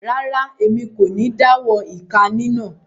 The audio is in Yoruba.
Rara, Èmí kò ní dawọ ika ninà